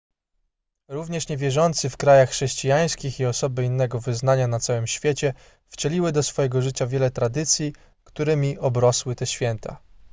również niewierzący w krajach chrześcijańskich i osoby innego wyznania na całym świecie wcieliły do swojego życia wiele tradycji którymi obrosły te święta